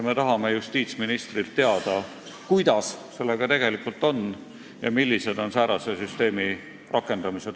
Me tahame justiitsministrilt teada, kuidas sellega tegelikult on ja mis takistab säärase süsteemi rakendamist.